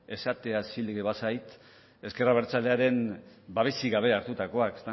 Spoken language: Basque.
esatea zilegi bazait ezker abertzaleen babesik gabe hartutakoak